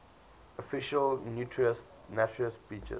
official naturist beaches